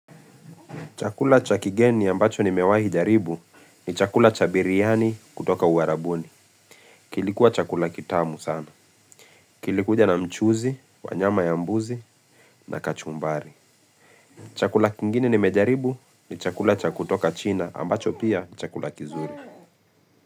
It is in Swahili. Chakula cha kigeni ambacho nimewahi jaribu ni chakula cha biryani kutoka uarabuni. Kilikuwa chakula kitamu sana. Kilikuja na mchuzi, wanyama ya mbuzi na kachumbari. Chakula kingine nimejaribu ni chakula cha kutoka china ambacho pia ni chakula kizuri.